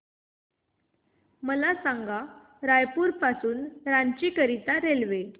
मला सांगा रायपुर पासून रांची करीता रेल्वे